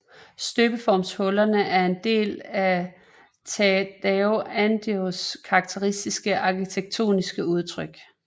Støbeformshullerne er en del af Tadao Andos karakteristiske arkitektoniske udtryk